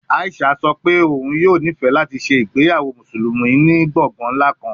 Aishat sọ pe oun yoo nifẹ lati ṣe igbeyawo Musulumi ni gbongan nla kan